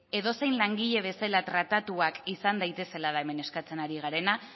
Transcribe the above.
edozein langile bezala tratatuak izan daitezela da hemen eskatzen ari garena